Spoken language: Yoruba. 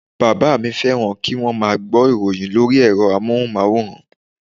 Bàbá mi féràn kíwón má a gbó ìròyin lórí èro amóhùnmáwòrán